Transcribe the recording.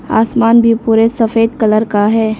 आसमान भी पूरे सफेद कलर का है।